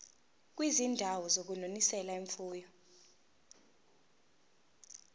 kwizindawo zokunonisela imfuyo